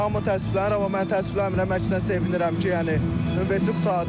Hamı təəssüflənir, amma mən təəssüflənmirəm, əksinə sevinirəm ki, yəni universitet qurtardım.